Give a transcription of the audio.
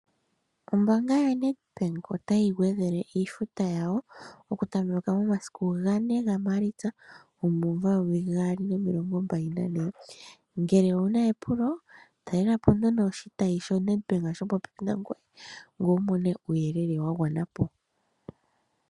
Ombaanga yaNedbank otayi gwedhele iifuta yayo okutameka momasiku 04 Maalitsa 2024 ngele owuna epulo talela po nduno oshitayi shoNedbank shoka shili popepi nangwe ngweye wumone uuyelele wagwanapo.